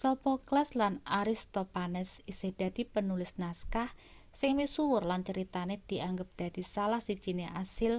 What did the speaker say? sophocles lan aristophanes isih dadi penulis naskah sing misuwur lan critane dianggep dadi salah sijine asil